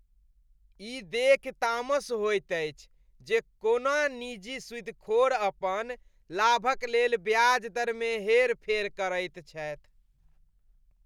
ई देखि तामस होइत अछि जे कोना निजी सुदिखोर अपन लाभक लेल ब्याज दरमे हेरफेर करैत छथि।